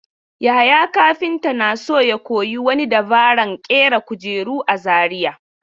Yahaya kafinta na so ya koyi wani dabaran ƙera kujeru a Zariya.